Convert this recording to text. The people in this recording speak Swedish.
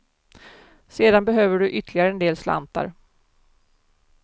Sedan behöver du ytterligare en del slantar.